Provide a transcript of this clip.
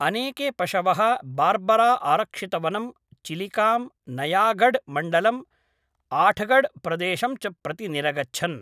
अनेके पशवः बार्बराआरक्षितवनं, चिलिकां, नयागढ्मण्डलं, आठगढ्‌प्रदेशं च प्रति निरगच्छन्